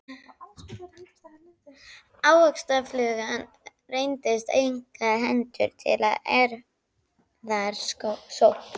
Ávaxtaflugan reyndist einkar hentug til erfðarannsókna.